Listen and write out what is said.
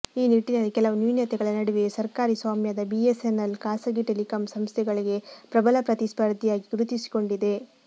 ಈ ನಿಟ್ಟಿನಲ್ಲಿ ಕೆಲವು ನ್ಯೂನ್ಯತೆಗಳ ನಡುವೆಯೂ ಸರ್ಕಾರಿ ಸ್ವಾಮ್ಯದ ಬಿಎಸ್ಎನ್ಎಲ್ ಖಾಸಗಿ ಟೆಲಿಕಾಂ ಸಂಸ್ಥೆಗಳಿಗೆ ಪ್ರಬಲ ಪ್ರತಿ ಸ್ಪರ್ಧಿಯಾಗಿ ಗುರುತಿಸಿಕೊಂಡಿದೆ